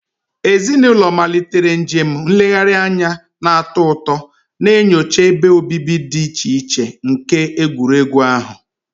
Ezinụlọ malitere njem nlegharị anya na-atọ ụtọ, na-enyocha ebe obibi dị iche iche nke egwuregwu ahụ.